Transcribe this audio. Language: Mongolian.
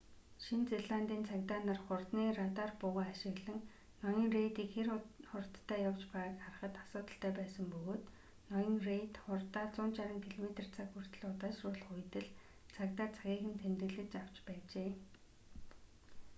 шинэ зеландын цагдаа нар хурдны радар буугаа ашиглан ноён рейдийг хэр хурдтай явж байгааг харахад асуудалтай байсан бөгөөд ноён рейд хурдаа 160 км/цаг хүртэл удаашруулах үед л цагдаа цагийг нь тэмдэглэж авч байжээ